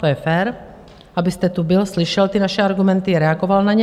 To je fér, abyste tu byl, slyšel ty naše argumenty, reagoval na ně.